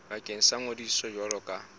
bakeng sa ngodiso jwalo ka